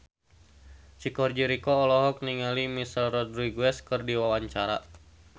Chico Jericho olohok ningali Michelle Rodriguez keur diwawancara